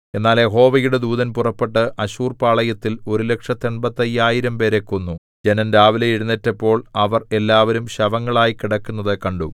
എന്നാൽ യഹോവയുടെ ദൂതൻ പുറപ്പെട്ടു അശ്ശൂർപാളയത്തിൽ ഒരുലക്ഷത്തെൺപത്തയ്യായിരം പേരെ കൊന്നു ജനം രാവിലെ എഴുന്നേറ്റപ്പോൾ അവർ എല്ലാവരും ശവങ്ങളായി കിടക്കുന്നത് കണ്ടു